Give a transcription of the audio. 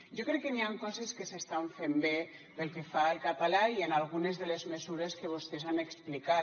jo crec que n’hi han coses que s’estan fent bé pel que fa al català i en algunes de les mesures que vostès han explicat